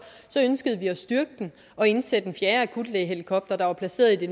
så ønsker vi at styrke den og indsætte en fjerde akutlægehelikopter der er placeret i det